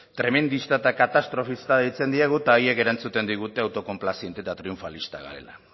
tremendista eta katastrofista deitzen diegu eta haiek erantzuten digute autokonplaziente eta triunfalistak garela